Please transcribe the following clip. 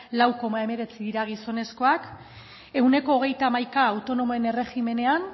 lau koma hemeretzi dira gizonezkoak ehuneko hogeita hamaika autonomoen erregimenean